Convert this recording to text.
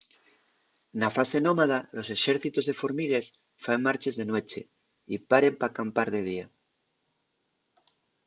na fase nómada los exércitos de formigues faen marches de nueche y paren p’acampar de día